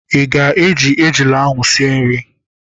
Ị ga- eji ejula ahụ sie nri?